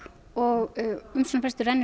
og umsóknarfrestur rennur